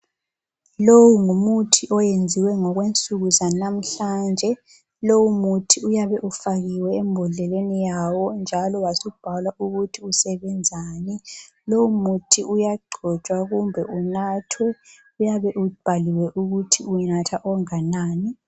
Lowu ngumuthi oyenziwe ngokwensuku zanamhlanje. Lowu muthi uyabe ufakiwe embodleleni yawo njalo wasubhalwa ukuthi usebenzani. Lowu muthi uyagcotshwa kumbe unathwe. Uyabe ubhaliwe ukuthi unatha onganani.